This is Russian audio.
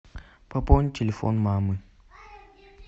пополнить телефон мамы